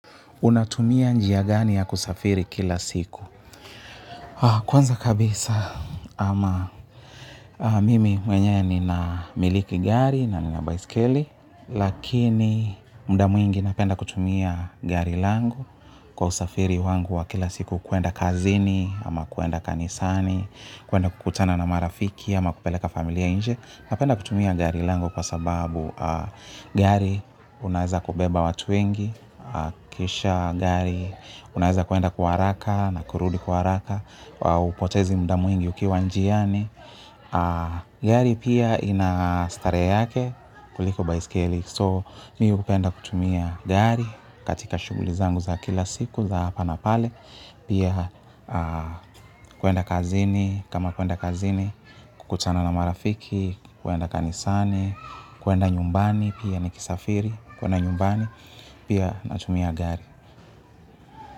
Unatumia njia gani ya kusafiri kila siku? Kwanza kabisa ama mimi mwenyewe nina miliki gari na nina baiskeli. Lakini muda mwingi napenda kutumia gari langu kwa usafiri wangu wa kila siku kwenda kazini ama kwenda kanisani, kwenda kukutana na marafiki ama kupeleka familiainje. Napenda kutumia gari langu kwa sababu gari unaweza kubeba watu wengi, kisha gari unaeza kuenda kwa haraka na kurudi kwa haraka, hupotezi muda mwingi ukiwa njiani. Gari pia ina starehe yake kuliko baiskeli. So mi hupenda kutumia gari katika shuguli zangu za kila siku za hapa na pale. Pia kwenda kazini kama kwenda kazini kukutana na marafiki kwenda kanisani kwenda nyumbani pia nikisafiri kwenda nyumbani pia natumia gari.